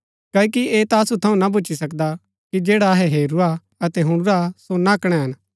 क्ओकि ऐह ता असु थऊँ ना भूच्ची सकदा कि जैडा अहै हेरूरा अतै हुणुरा सो ना कणैन